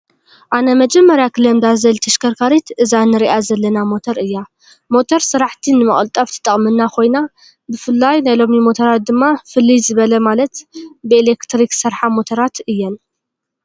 ኣነ መጀመርያ ክለምዳ ዝደሊ ተሽከርካሪ እዛ እንሪኣ ዘለና ሞቶር እያ። ሞቶር ስራሕቲ ንመቅልጣፍ ትጠቅመና ኮይና ብፍላይ ናይ ሎሚ ሞቶራት ድማ ፍልይ ዝበለ ማለት ብኤሌኽትሪክ ዝሰርሓ ሞቶራት እየን።